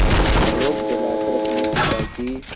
आलोक जलाकर अपने पिता की